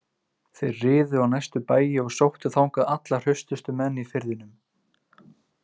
Þeir riðu á næstu bæi og sóttu þangað alla hraustustu menn í firðinum.